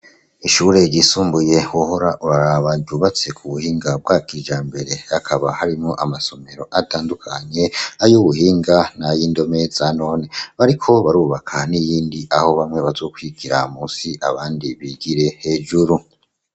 Ishure ryisumbuye wohora uraraba ryubatse ku buhinga bwa kijambere hakaba harimwo amasomero atandukanye ay'ubuhinga n'ay'indomeza none bariko barubaka n'iyindi aho bamwe bazukwigira musi abandi bigire hejuru.